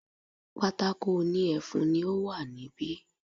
Pátákó òní ẹfun ni ó wà ní bi